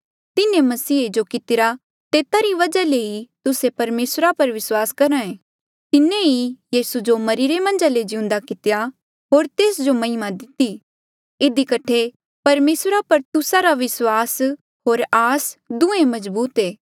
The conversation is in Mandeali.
तिन्हें मसीहे जो कितिरा तेता री वजहा ले ई तुस्से परमेसरा पर विस्वास करहे तिन्हें ही यीसू जो मरिरे मन्झा ले जिउंदा कितेया होर तेस जो महिमा दिती इधी कठे परमेसरा पर तुस्सा रा विस्वास होर आस दुहें मजबूत ऐें